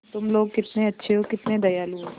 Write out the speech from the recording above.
तुम लोग कितने अच्छे हो कितने दयालु हो